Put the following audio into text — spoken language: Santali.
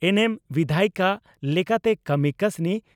ᱮᱱᱮᱢ ᱵᱤᱫᱷᱟᱭᱤᱠᱟ ᱞᱮᱠᱟᱛᱮ ᱠᱟᱹᱢᱤ ᱠᱟᱹᱥᱱᱤ